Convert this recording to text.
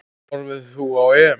Horfir þú á EM?